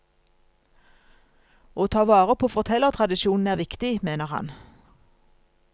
Å ta vare på fortellertradisjonen er viktig, mener han.